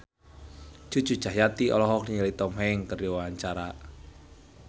Cucu Cahyati olohok ningali Tom Hanks keur diwawancara